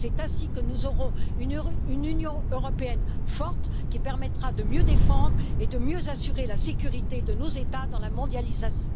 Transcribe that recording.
C'est ainsi que nous aurons une Union européenne forte qui permettra de mieux défendre et de mieux assurer la sécurité de nos États dans le contexte de la mondialisation.